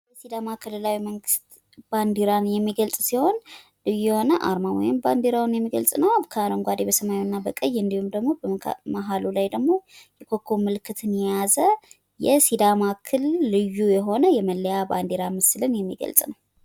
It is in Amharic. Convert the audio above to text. የሲዳማ ክልላዊ መንግስት ባንዲራን የሚገልጽ ሲሆን የሆነ አርማ ወይም ባንዲራውን የሚገልጽ ነው። አረንጓዴ በሰማያዊ እና በቀይ እንዲሁም ደግሞ መሀሉ ላይ ደግሞ ኮከብ ምልክትን የያዘ የሲዳማ ክልል ልዩ የሆነ መለያ ባንዲያ ምስልን የሚገልጽ ነው።